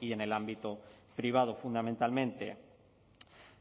y en el ámbito privado fundamentalmente